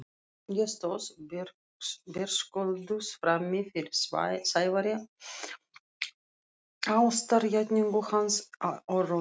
Ég stóð berskjölduð frammi fyrir Sævari, ástarjátningu hans og raunum.